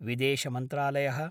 विदेशमन्त्रालय: